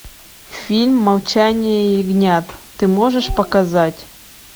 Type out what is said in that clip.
фильм молчание ягнят ты можешь показать